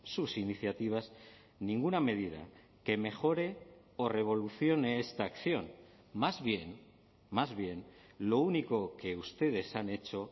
sus iniciativas ninguna medida que mejore o revolucione esta acción más bien más bien lo único que ustedes han hecho